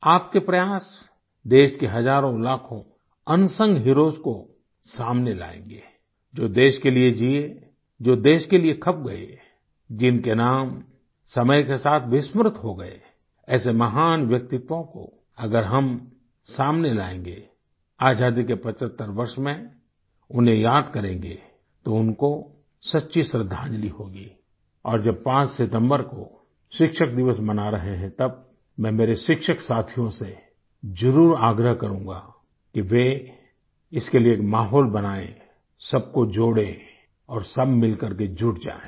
आप के प्रयास देश के हजारों लाखों अनसंग हीरोज को सामने लायेंगे जो देश के लिए जिये जो देश के लिए खप गए जिनके नाम समय के साथ विस्मृत हो गए ऐसे महान व्यक्तित्वों को अगर हम सामने लायेंगे आजादी के 75 वर्ष में उन्हें याद करेंगे तो उनको सच्ची श्रद्धांजलि होगी और जब 5 सितम्बर को शिक्षक दिवस मना रहे हैं तब मैं मेरे शिक्षक साथियों से जरूर आग्रह करूँगा कि वे इसके लिए एक माहोल बनाएं सब को जोड़ें और सब मिल करके जुट जाएँ